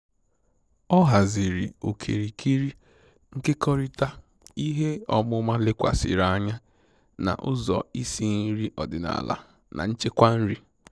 Ọ haziri okirikiri nkekọrịta ihe ọmụma lekwasịrị anya na ụzọ isi nri odịnaala na nchekwa nri